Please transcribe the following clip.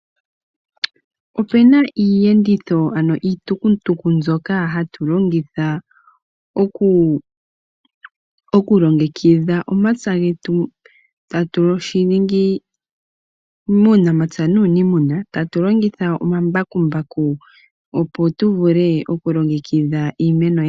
Opuna iiyenditho ano iitukutuku mbyoka hatu longitha okulongekidha omapya getu, tatu shiningi muunapya nuunimuna . Tatu longitha omambakumbaku opo tuvule okulongekidha iimeno yetu.